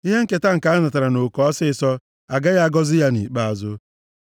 Ihe nketa nke anatara nʼoke ọsịịsọ, agaghị agọzi ya nʼikpeazụ.